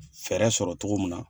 fɛɛrɛ sɔrɔ cogo min na.